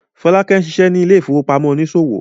Folake ń ṣiṣẹ́ ní ilé ìfowópamọ́ oníṣòwò.